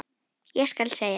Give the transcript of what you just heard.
Ég skal segja þér